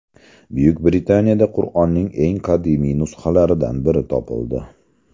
Buyuk Britaniyada Qur’onning eng qadimiy nusxalaridan biri topildi.